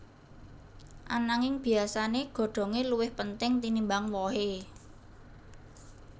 Ananging biyasané godhongé luwih penting tinimbang wohé